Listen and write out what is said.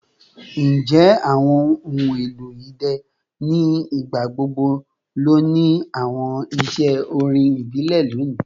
Njẹ awọn ohun elo idẹ ni igbagbogbo lo ni awọn iṣẹ orin ibile loni?